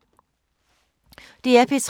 DR P3